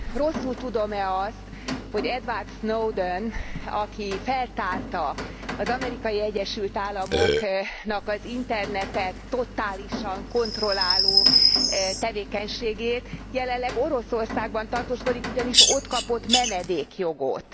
Rosszul tudom e azt, hogy Edward Snowden, aki feltárta az Amerikai Egyesült Államoknak az Internetet totálisan kontrolláló tevékenységét, jelenleg Oroszországban tartózkodik, ugyanis ott kapott menedékjogot.